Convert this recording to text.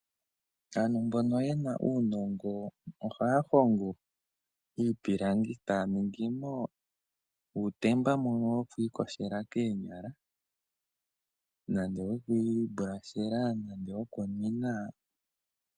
Aantu mbono ye na uunongo ohaya hongo iipilangi e taya ningi mo uutemba mbono woku iyogela koonyala nenge woku ikushila komayego nenge wokunwina.